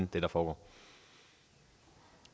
det når